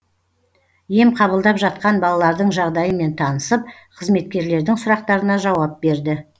ем қабылдап жатқан балалардың жағдайымен танысып қызметкерлердің сұрақтарына жауап берді